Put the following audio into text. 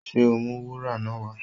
Ṣé o ó mú wúrà náà wá?